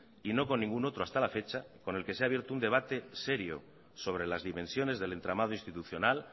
y no con ningún otro hasta la fecha con el que se ha abierto un debate serio sobre las dimensiones del entramado institucional